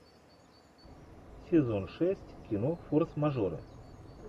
сезон шесть кино форс мажоры